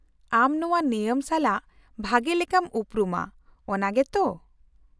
-ᱟᱢ ᱱᱚᱶᱟ ᱱᱮᱭᱟᱢ ᱥᱟᱞᱟᱜ ᱵᱷᱟᱜᱮ ᱞᱮᱠᱟᱢ ᱩᱯᱨᱩᱢᱟ, ᱚᱱᱟ ᱜᱮᱛ?